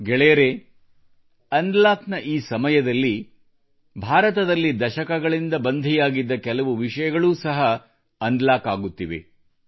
ಗೆಳೆಯರೇ ಅನ್ಲಾಕ್ನ ಈ ಸಮಯದಲ್ಲಿ ಭಾರತದಲ್ಲಿ ದಶಕಗಳಿಂದ ಬಂಧಿಯಾಗಿದ್ದ ಕೆಲವು ವಿಷಯಗಳೂ ಅನ್ಲಾಕ್ ಆಗುತ್ತಿವೆ